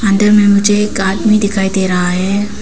अंदर में मुझे एक आदमी दिखाई दे रहा है।